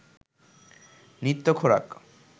নিত্য খোরাক